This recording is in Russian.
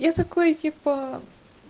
я такой типа